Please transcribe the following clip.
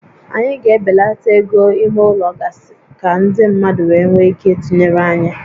Anyị ga-ebelata égo ímé ụlọ gasị ka ndị mmadụ wee nwee ike ịtụnyere anyị